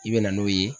I bɛ na n'o ye